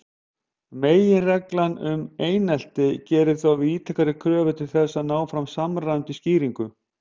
Meginreglan um einsleitni gerir þó víðtækari kröfur til þess að ná fram samræmdri skýringu.